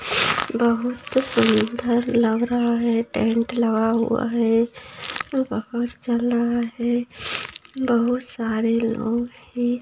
बहुत सुन्दर लग रहा हैं टेंट लगा हुआ हैं माहौल चल रहा हैं बहुत सारे लोग हैं।